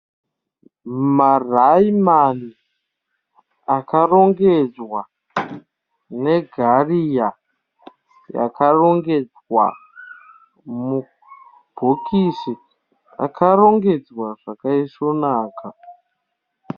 Maraimani akarongedzwa negaria yakarongedzwa mubhokisi. Yakarongedzwa zvakaisvonaka.